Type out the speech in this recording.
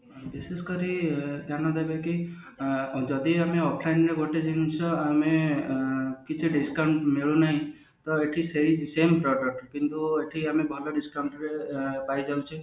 ବିଶେଷ କରି ଆମେ କହବା କି ଯଦି ଆମେ offline ଆଉ ଆମେ କିଛି discount ମିଳୁନାହିଁ ତ ଏଠି ଏଠି ସେଇ ସେଇ product କିନ୍ତୁ ଏଠି ଆମେ ଭଲ discount ରେ ପାଇ ପାରୁଛେ